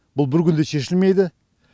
бұл бір күнде шешілмейді